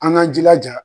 An k'an jilaja